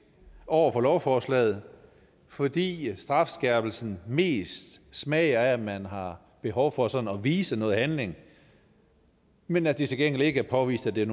over for lovforslaget fordi strafskærpelsen mest smager af at man har behov for sådan at vise noget handling men at det til gengæld ikke er påvist at det